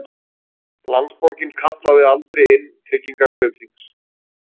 Landsbankinn kallaði aldrei inn tryggingar Kaupþings